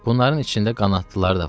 Bunların içində qanadlıları da var.